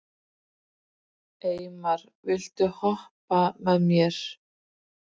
Eymar, viltu hoppa með mér?